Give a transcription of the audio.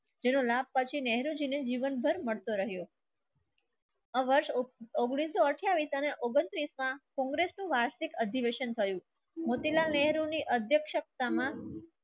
તને રામ પછી નહેરુ જી ને જીવનભર મળતો રહ્યો. વર્ષ ઉંગ્નીસ સો અઠાઇસ અને ઉગણતીસ માં કોંગ્રેસનું વાર્ષિક અધિવેશન થયું. મોતિલાલ નહેરૂની અધ્યક્ષતામાં